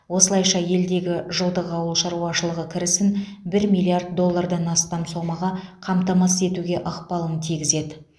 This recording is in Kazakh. осылайша елдегі жылдық ауыл шаруашылығы кірісін бір миллиард доллардан астам сомаға қамтамасыз етуге ықпалын тигізеді